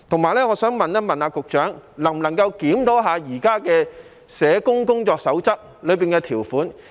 我亦想問局長，能否檢討現有《社會工作者工作守則》的條款？